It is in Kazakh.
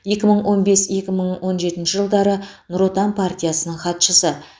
екі мың он бес екі мың он жетінші жылдары нұр отан партиясының хатшысы